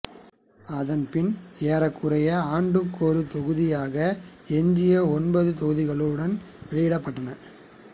அதன் பின் ஏறக்குறைய ஆண்டுக்கொரு தொகுதியாக எஞ்சிய ஒன்பது தொகுதிகளும் வெளியிடப்பட்டன